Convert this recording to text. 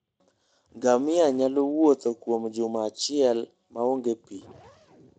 Ngamia nyalo wuotho kuom juma achiel maonge pi.